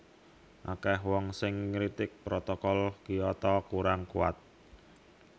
Akèh wong sing ngritik Protokol Kyoto kurang kuwat